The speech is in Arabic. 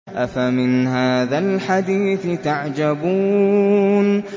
أَفَمِنْ هَٰذَا الْحَدِيثِ تَعْجَبُونَ